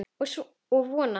Og vona.